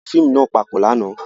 A wo fiimu náa papọ làná